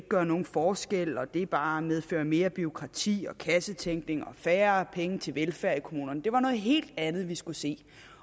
gøre nogen forskel og at det bare medfører mere bureaukrati og kassetænkning og færre penge til velfærd i kommunerne det var noget helt andet vi skulle se